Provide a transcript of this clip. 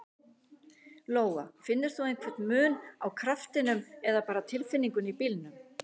Lóa: Finnur þú einhver mun á kraftinum eða bara tilfinningunni í bílnum?